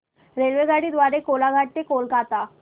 रेल्वेगाडी द्वारे कोलाघाट ते कोलकता